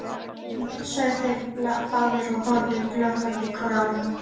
Stórfínt sögðu þeir báðir og horfðu glottandi hvor á annan.